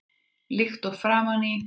Líkt og fram í